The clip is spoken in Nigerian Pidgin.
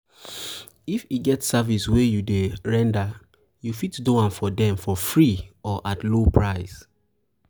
if e get service wey you dey render you fit do am for dem for free or at low price